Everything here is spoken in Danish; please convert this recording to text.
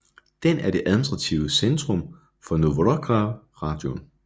Den er det administrative centrum for Novoukrajinka rajon